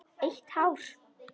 Eitt hár.